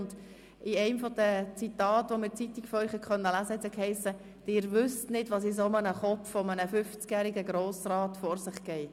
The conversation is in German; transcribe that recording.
In einem der Zitate, die man in der Zeitung von Ihnen hat lesen können, hiess es: «Sie wissen nicht, was im Kopf eines 50-jährigen Grossrats vor sich geht.